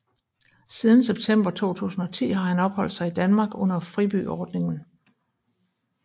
Siden september 2010 har han opholdt sig i Danmark under fribyordningen